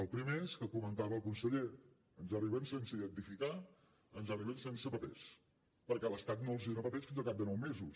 el primer és el que comentava el conseller ens arriben sense identificar ens arriben sense papers perquè l’estat no els dona papers fins al cap de nou mesos